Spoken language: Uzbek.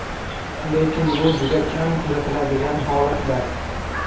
Lekin bu juda kam kuzatiladigan holatlar.